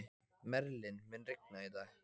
Merlin, mun rigna í dag?